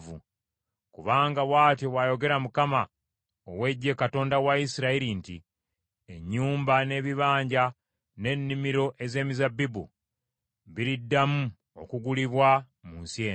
Kubanga bw’atyo bw’ayogera Mukama ow’Eggye Katonda wa Isirayiri nti, Ennyumba, n’ebibanja n’ennimiro ez’emizabbibu biriddamu okugulibwa mu nsi eno.’